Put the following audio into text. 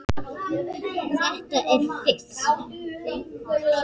Þetta er fis.